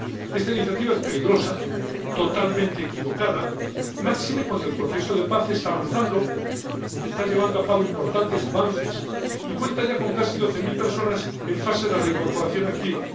Esta iniciativa es peligrosa y totalmente equivocada, máxime cuando el proceso de paz está avanzando, está llevando a cabo importantes avances y cuenta ya con casi doce mil personas en fase de reincorporación activa.